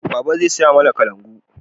Baba zai saya mana kalangu